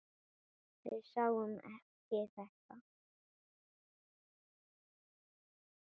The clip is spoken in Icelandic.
Við sáum ekki þetta!